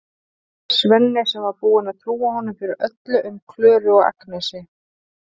Svenni sem var búinn að trúa honum fyrir öllu um Klöru og Agnesi.